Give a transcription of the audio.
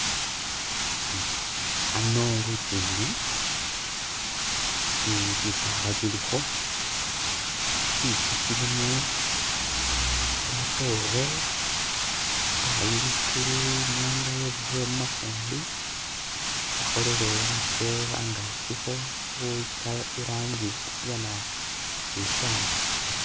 Hano lujinji bisaala bilikho tsintsu tsilimo kamatoore shatayi likulu inyanga yebisile mumafumbi yakholele khatse hangakyikho irangi ya nabitsali.